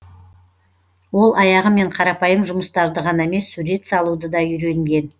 ол аяғымен қарапайым жұмыстарды ғана емес сурет салуды да үйренген